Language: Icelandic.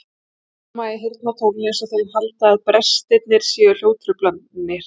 Þeir fálma í heyrnartólin einsog þeir haldi að brestirnir séu hljóðtruflanir.